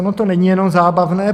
Ono to není jenom zábavné.